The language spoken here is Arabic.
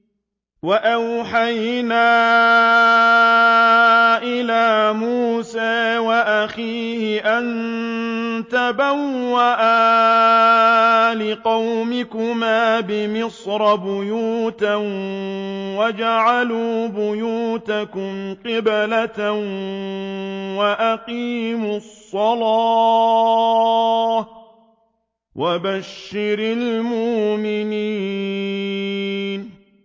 وَأَوْحَيْنَا إِلَىٰ مُوسَىٰ وَأَخِيهِ أَن تَبَوَّآ لِقَوْمِكُمَا بِمِصْرَ بُيُوتًا وَاجْعَلُوا بُيُوتَكُمْ قِبْلَةً وَأَقِيمُوا الصَّلَاةَ ۗ وَبَشِّرِ الْمُؤْمِنِينَ